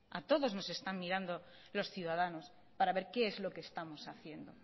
a todos nos están mirando los ciudadanos para ver qué es lo que estamos haciendo